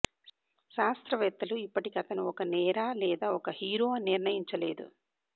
శాస్త్రవేత్తలు ఇప్పటికీ అతను ఒక నేర లేదా ఒక హీరో అని నిర్ణయించలేదు